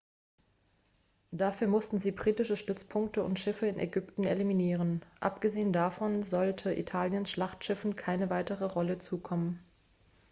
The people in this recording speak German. dafür mussten sie britische stützpunkte und schiffe in ägypten eliminieren abgesehen davon sollte italiens schlachtschiffen keine weitere rolle zukommen